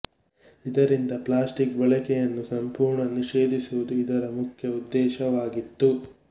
ಇದರಿಂದ ಪ್ಲಾಸ್ಟಿಕ್ ಬಳಕೆಯನ್ನು ಸಂಪೂರ್ಣ ನಿಷೇಧಿಸುವುದು ಇದರ ಮುಖ್ಯ ಉದ್ದೇಶವಾಗಿತ್ತು